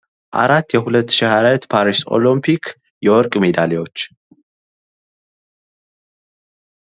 አራት የ2024 ፓሪስ ኦሎምፒክ የወርቅ ሜዳልያዎች።